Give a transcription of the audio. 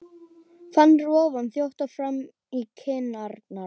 Fann roðann þjóta fram í kinnarnar.